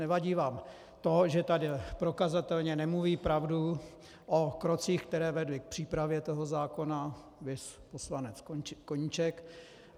Nevadí vám to, že tady prokazatelně nemluví pravdu o krocích, které vedly k přípravě toho zákona, viz poslanec Koníček.